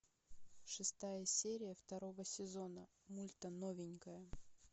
шестая серия второго сезона мульта новенькая